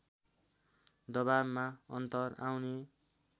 दबावमा अन्तर आउने